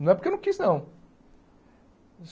Não é porque eu não quis, não.